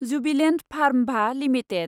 Jubilant फार्मभा limited